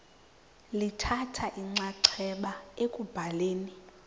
lithatha inxaxheba ekubhaleni